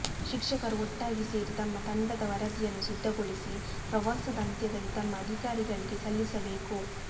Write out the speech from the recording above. ಶಿಕ್ಷಕರು ಒಟ್ಟಾಗಿ ಸೇರಿ ತಮ್ಮ ತಂಡದ ವರದಿಯನ್ನು ಸಿದ್ಧಗೊಳಿಸಿ ಪ್ರವಾಸದ ಅಂತ್ಯದಲ್ಲಿ ತಮ್ಮ ಅಧಿಕಾರಿಗಳಿಗೆ ಸಲ್ಲಿಸಬೇಕು